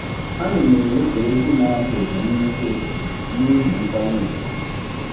Anyị na-ewepụ egwu na-ada ụda nisi ụtụtụ nihi nkwanye ùgwù.